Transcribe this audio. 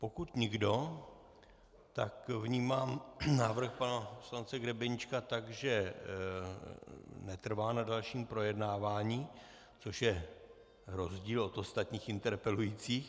Pokud nikdo, tak vnímám návrh pana poslance Grebeníčka tak, že netrvá na dalším projednávání, což je rozdíl od ostatních interpelujících.